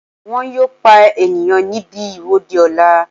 Wọ́n yóò pa ènìyàn níbi ìwọ́de ọ̀la